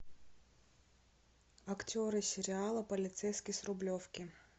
актеры сериала полицейский с рублевки